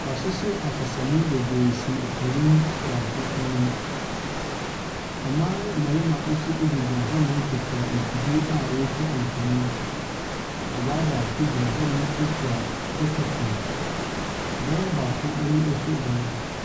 W'ahyehyɛ akasamu bebree si opanin baako enim. Mbaa ne mbɛrema nso egyinagyina hɔ nom kurakura mfidie a wotwa mfonin. Ɔbaa baako egyina hɔ a okura tetefon, bɛrema baako eni ɛhwɛ dan.